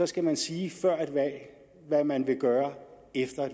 skal man sige før et valg hvad man vil gøre efter